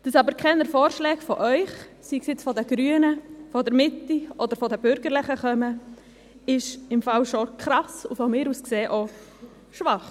Dass aber keine Vorschläge von Ihnen kommen – sei es von den Grünen, von der Mitte oder von den Bürgerlichen –, ist auf jeden Fall krass und aus meiner Sicht auch schwach.